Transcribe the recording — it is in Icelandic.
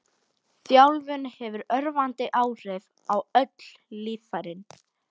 Þjálfun hefur örvandi áhrif á öll líffærin.